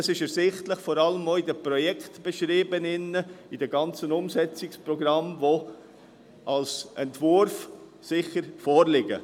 Dieser ist vor allem in den Projektbeschrieben ersichtlich, die mit dem ganzen Umsetzungsprogramm als Entwurf vorliegen.